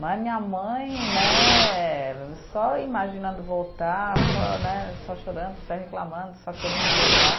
Né, minha mãe né, só imaginando voltar, só né, só chorando, só reclamando, só querendo voltar.